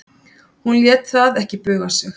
En hún lét það ekki buga sig.